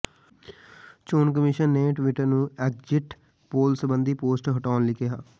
ਚੋਣ ਕਮਿਸ਼ਨ ਨੇ ਟਵਿਟਰ ਨੂੰ ਐਗਜ਼ਿਟ ਪੋਲ ਸਬੰਧੀ ਪੋਸਟ ਹਟਾਉਣ ਲਈ ਕਿਹਾ